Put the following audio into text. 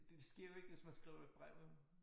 Det det sker jo ikke hvis man skriver et brev vel